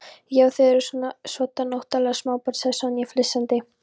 Já, þið eruð svoddan óttaleg smábörn sagði Sonja flissandi.